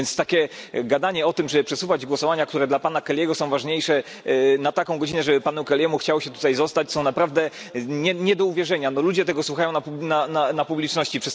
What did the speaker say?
Więc takie gadanie o tym, żeby przesunąć głosowania, które dla pana Kelly'ego są ważniejsze, na taką godzinę, żeby panu Kelly'emu chciało się tutaj zostać, jest naprawdę nie do uwierzenia. Ludzie tego słuchają na galerii dla publiczności.